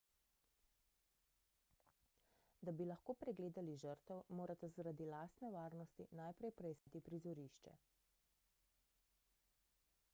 da bi lahko pregledali žrtev morate zaradi lastne varnosti najprej preiskati prizorišče